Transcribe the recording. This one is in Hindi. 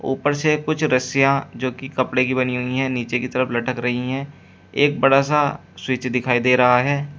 ऊपर से कुछ रसियां जो कि कपड़े की बनी हुई हैं नीचे की तरफ लटक रही हैं एक बड़ा सा स्विच दिखाई दे रहा है।